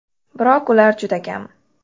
Biroq ular juda kam.